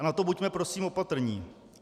A na to buďme prosím opatrní.